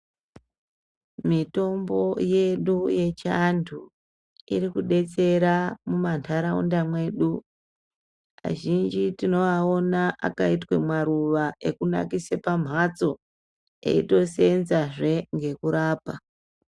Mitombo yedu yechi antu irikudetsera mumwandaraunda mwedu .Kazhinji tinoaona akaitwa maruva ekunakisa pamhatso, eitoseenza zve ngekurapa.